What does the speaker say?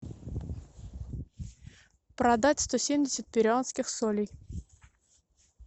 продать сто семьдесят перуанских солей